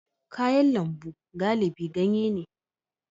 Kayan lambu galibi ganye ne